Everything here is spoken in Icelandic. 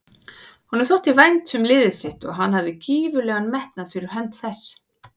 Honum þótti vænt um liðið sitt og hann hafði gífurlegan metnað fyrir hönd þess.